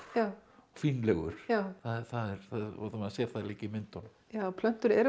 og fínlegur og maður sér það líka í myndunum já plöntur eru